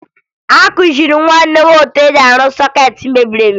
Akụziri m nwunye m ka e si arụ sọkeetị mebiri emebi